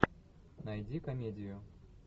найди комедию